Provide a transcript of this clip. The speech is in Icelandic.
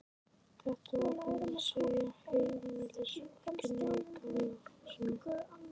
Þetta var hún að segja heimilisfólkinu í Gamla húsinu.